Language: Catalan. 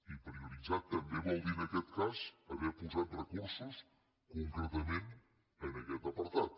i prioritzar també vol dir en aquest cas haver posat recursos concretament en aquest apartat